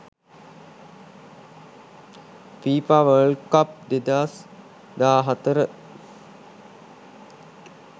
fifa world cup 2014